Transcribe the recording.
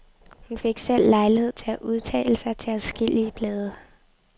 Hun fik selv lejlighed til at udtale sig til adskillige blade.